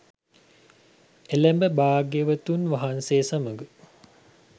එළැඹ භාග්‍යවතුන් වහන්සේ සමඟ